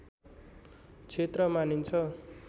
क्षेत्र मानिन्छ